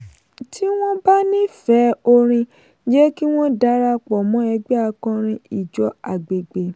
tí wọ́n bá nífẹ̀ẹ́ oorin jẹ́ kí wọ́n darapọ̀ mọ́ ẹgbẹ́ akọrin ìjọ agbègbè.